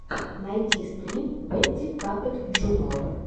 найти стрим бэтти паппэт джуниор